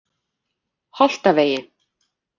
Holtavegi